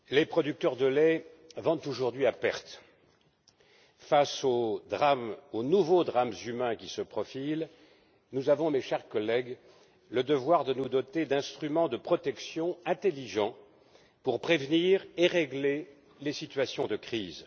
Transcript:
Madame la Présidente, les producteurs de lait vendent aujourd'hui à perte. Face aux nouveaux drames humains qui se profilent, nous avons, mes chers collègues, le devoir de nous doter d'instruments de protection intelligents pour prévenir et régler les situations de crise.